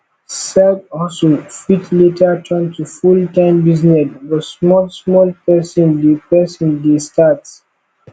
side hustle fit later turn to full time business but small small person de person de start